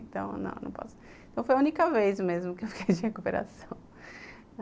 Então, não, não posso, então foi a única vez mesmo que eu fiquei de recuperação.